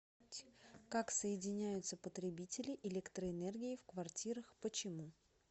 как соединяются потребители электроэнергии в квартирах почему